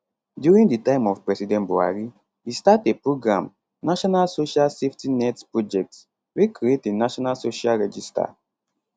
during di time of president buhari e start a program national social safety nets project wey create a national social register